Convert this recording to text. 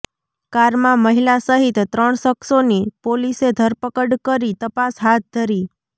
કારમાં મહિલા સહિત ત્રણ શખ્સોની પોલીસે ધરપકડ કરી તપાસ હાથ ધરી